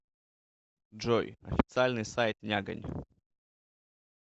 джой официальный сайт нягань